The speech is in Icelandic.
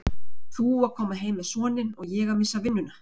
Þú að koma heim með soninn og ég að missa vinnuna.